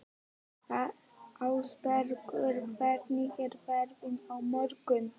Ásbergur, hvernig er veðrið á morgun?